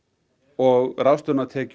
og ráðstöfunartekjur